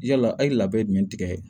Yala a ye labɛn jumɛn tigɛ